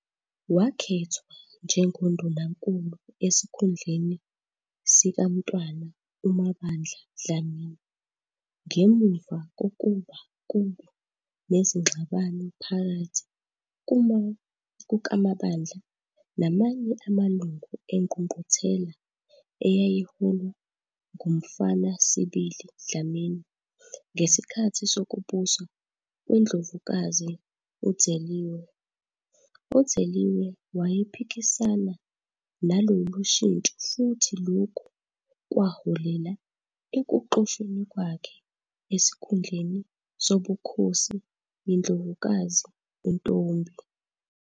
Wakhethwa njengoNdunankulu esikhundleni sikaMntwana uMabandla Dlamini ngemuva kokuba kube nezingxabano phakathi kukaMabandla namanye amalungu engqungquthela eyayiholwa nguMfanasibili Dlamini ngesikhathi sokubusa kweNdlovukazi u-Dzeliwe. U-Dzeliwe wayephikisana nalolu shintsho futhi lokhu kwaholela ekuxoshweni kwakhe esikhundleni sobukhosi yiNdlovukazi uNtombi.